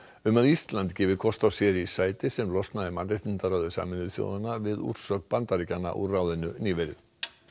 um að Ísland gefi kost á sér það sæti sem losnaði í mannréttindaráði Sameinuðu þjóðanna við úrsögn Bandaríkjanna úr ráðinu nýverið